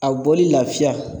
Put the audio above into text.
A bɔli lafiya